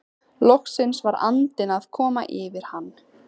Loksins var andinn að koma yfir hann!